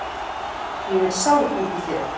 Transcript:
Ég er sár út í þig.